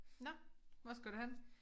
Nåh hvor skal du hen?